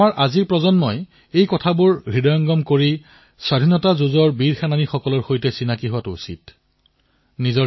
আমাৰ আজিৰ প্ৰজন্ম আমাৰ বিদ্যাৰ্থীসকলে স্বাধীনতাৰ এই যুঁজাৰুসকলৰ বিষয়ে পৰিচিত হোৱাটো অতিশয় আৱশ্যক